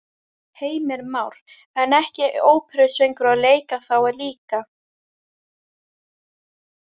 Heimir Már: En ekki óperusöngvari og leika þá líka?